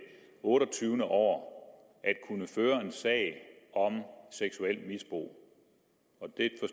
otteogtyvende år at kunne føre en sag om seksuelt misbrug